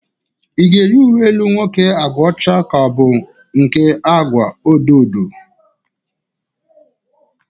Ï ga-eyi uwe elu nwoke agwa ọcha ka ọ bụ nke agwa odo odo?